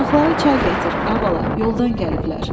Qonaqlara çay gətir, ay bala, yoldan gəliblər.